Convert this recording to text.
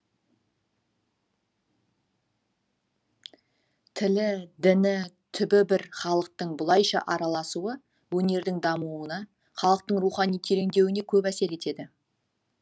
тілі діні түбі бір халықтың бұлайша араласуы өнердің дамуына халықтың рухани тереңдеуіне көп әсер етеді